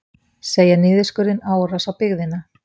Segja niðurskurðinn árás á byggðina